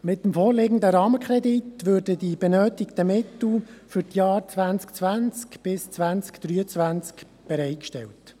Mit dem vorliegenden Rahmenkredit würden die benötigten Mittel für die Jahre 2020–2023 bereitgestellt.